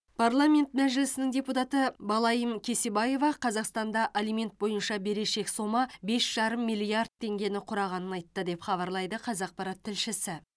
парламент мәжілісінің депутаты балаим кесебаева қазақстанда алимент бойынша берешек сома бес жарым миллиард теңгені құрағанын айтты деп хабарлайды қазақпарат тілшісі